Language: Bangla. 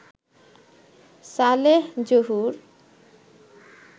সালেহ জহুর